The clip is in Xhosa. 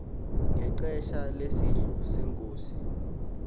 ngexesha lesidlo senkosi